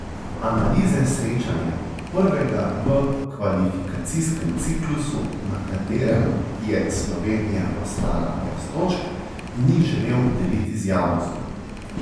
Analize srečanja, prvega v kvalifikacijskem ciklusu, na katerem je Slovenija ostala brez točk, ni želel deliti z javnostjo.